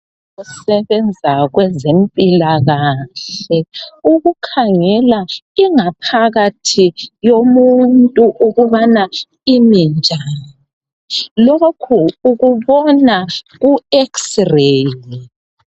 Osebenza kwezempilakahle ukukhangela inga phakathi yomuntu ukubana kumi njani lokhu ukubona ku X-ray.